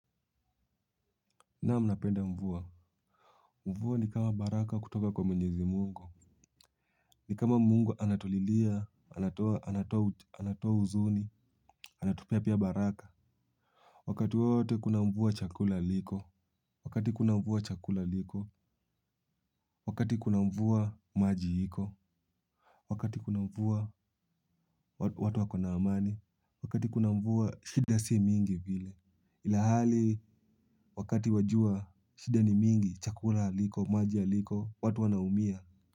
Naam napenda mvua. Mvua ni kama baraka kutoka kwa mwenyezi mungu. Ni kama mungu anatulilia, anatoa uzuni, anatupea pia baraka. Wakati wote kuna mvua chakula liko. Wakati kuna mvua chakula liko. Wakati kuna mvua maji hiko. Wakati kuna mvua watu wako na amani. Wakati kuna mvua shida si mingi vile. Ilhali wakati wa jua shida ni mingi, chakula haliko, maji haliko, watu wanaumia Muzika.